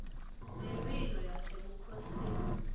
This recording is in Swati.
ngemphilo yasebukhosini